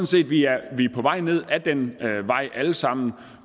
set at vi er på vej ned ad den vej alle sammen